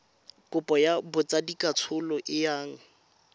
kopo ya botsadikatsholo e yang